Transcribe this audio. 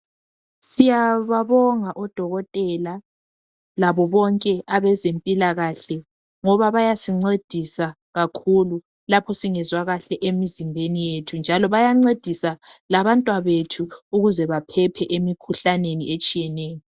Siyababonga odokotela labobonke abezempilakahle ngoba bayasincedisa kakhulu lapho singezwa kahle emizimbeni yethu njalo bayancedisa labantwabethu ukuze baphephe emikhuhlaneni etshiyeneyo.